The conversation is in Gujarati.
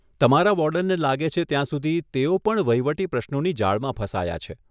તમારા વોર્ડનને લાગે છે ત્યાં સુધી તેઓ પણ વહીવટી પ્રશ્નોની જાળમાં ફસાયા છે.